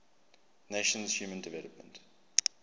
nations human development